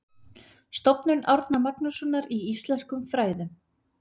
Stofnun Árna Magnússonar í íslenskum fræðum.